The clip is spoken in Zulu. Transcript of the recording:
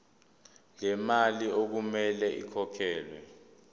lemali okumele ikhokhelwe